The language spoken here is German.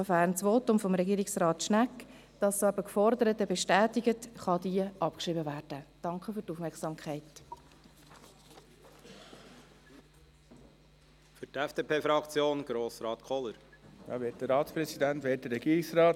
Sofern das Votum von Regierungsrat Schnegg das Geforderte bestätigt, kann die Ziffer 2 abgeschrieben werden.